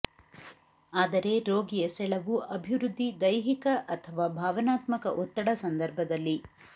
ಆದರೆ ರೋಗಿಯ ಸೆಳವು ಅಭಿವೃದ್ಧಿ ದೈಹಿಕ ಅಥವಾ ಭಾವನಾತ್ಮಕ ಒತ್ತಡ ಸಂದರ್ಭದಲ್ಲಿ